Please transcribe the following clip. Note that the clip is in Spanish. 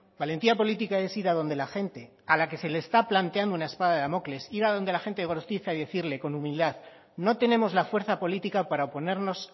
valentía política es ir a donde la gente a la que se le está planteando una espada de damocles ir a donde la gente de gorostiza y decirle con humildad no tenemos la fuerza política para oponernos